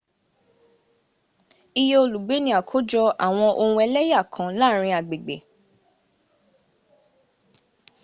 iye olùgbé ni ákójọ àwọn ohun ẹlẹ́yà kan láàrin agbègbè